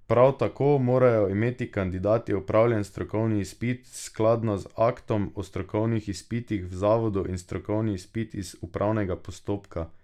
Prav tako morajo imeti kandidati opravljen strokovni izpit skladno z aktom o strokovnih izpitih v zavodu in strokovni izpit iz upravnega postopka.